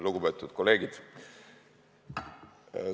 Lugupeetud kolleegid!